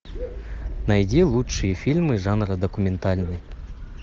найди лучшие фильмы жанра документальный